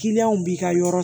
b'i ka yɔrɔ